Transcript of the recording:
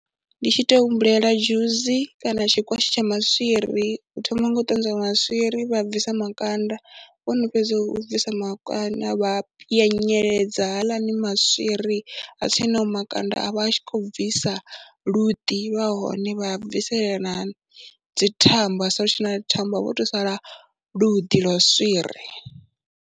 Ndi tshi tou humbulela dzhusi kana tshikwatshi tsha maswiri, u thoma nga u ṱanzwa maswiri, vha bvisa makanda, vho no fhedza u bvisa makanda vha a pwyeledza haaḽani maswiri a tshe naho makanda a vha a tshi khou bvisa luḓi lwa hone, vha a bvisela na dzithambo ha sala hu si tshe na thambo, ha vha ho tou sala luḓi lwa swiri.